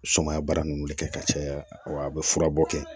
Sumaya baara nunnu de kɛ ka caya wa a be fura bɔ kɛ